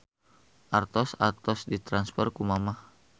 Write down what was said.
Artos atos ditransfer ku mamah